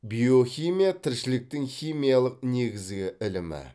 биохимия тіршіліктің химиялық негізгі ілімі